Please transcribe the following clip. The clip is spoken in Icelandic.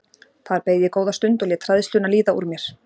Þar beið ég góða stund og lét hræðsluna líða úr mér.